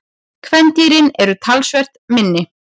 Kvendýrin eru talsvert minni.